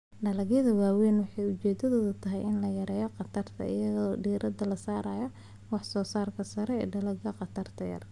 Hawlgallada waaweyn waxay ujeedadoodu tahay in la yareeyo khatarta iyada oo diiradda la saarayo wax soo saarka sare, dalagyada khatarta yar.